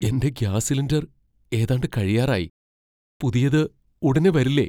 എന്റെ gas cylinder ഏതാണ്ട് കഴിയാറായി. പുതിയത് ഉടനേ വരില്ലേ?